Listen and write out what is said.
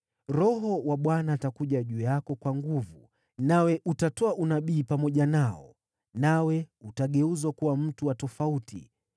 Roho wa Bwana atakuja juu yako kwa nguvu, nawe utatoa unabii pamoja nao; nawe utageuzwa kuwa mtu wa tofauti.